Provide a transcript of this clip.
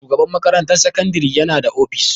Shugaban makarantar sakandare yana da ofis.